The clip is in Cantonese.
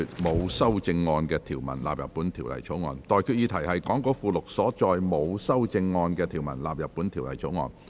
我現在向各位提出的待決議題是：講稿附錄所載沒有修正案的條文納入本條例草案。